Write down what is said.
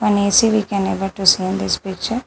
One A_C we can able to see in this picture.